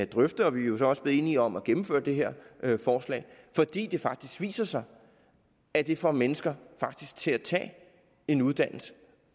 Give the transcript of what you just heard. drøftet og vi er jo så også blevet enige om at gennemføre det her forslag fordi det faktisk viser sig at det får mennesker til at tage en uddannelse